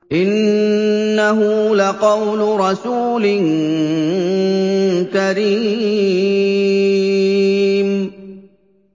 إِنَّهُ لَقَوْلُ رَسُولٍ كَرِيمٍ